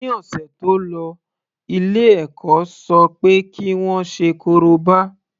Ní ọ̀sẹ̀ tó lọ ilé ẹ̀kọ́ ṣọ pé kí wọ́n ṣe korobá.